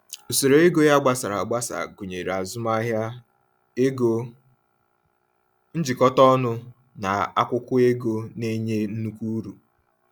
Usoro ego ya gbasara agbasa gụnyere azụmahịa, ego njikọta ọnụ, na akwụkwọ ego na-enye nnukwu uru.